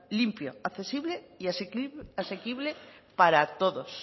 limpio accesible y asequible para todos